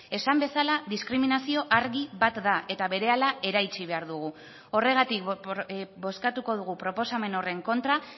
esan bezala diskriminazio argi bat da eta berehala eraitsi behar dugu horregatik bozkatuko dugu proposamen horren kontra